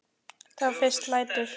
Þá fyrst lætur